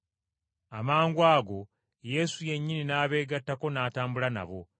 Amangwago Yesu yennyini n’abeegattako n’atambula nabo.